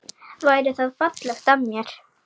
Væri það fallegt af mér?